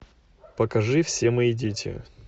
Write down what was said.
покажи все мои дети